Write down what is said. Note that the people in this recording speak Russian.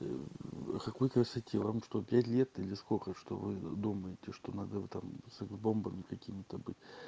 какой красоте вам что пять лет или сколько что вы думаете что надо вот там секс бомбами какиме то быть